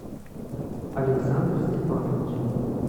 александр степанович